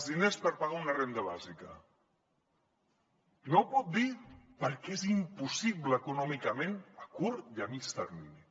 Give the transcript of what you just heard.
diners per pagar una renda bàsica no ho pot dir perquè és impossible econòmicament a curt i a mitjà termini